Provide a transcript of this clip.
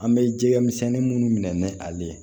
An bɛ jɛgɛ misɛnnin minnu minɛ ni ale ye